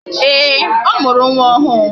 Ee, ọ mụrụ nwa ọhụụ.